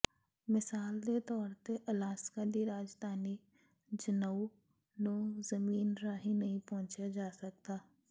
ਮਿਸਾਲ ਦੇ ਤੌਰ ਤੇ ਅਲਾਸਕਾ ਦੀ ਰਾਜਧਾਨੀ ਜੁਨੌਊ ਨੂੰ ਜ਼ਮੀਨ ਰਾਹੀਂ ਨਹੀਂ ਪਹੁੰਚਿਆ ਜਾ ਸਕਦਾ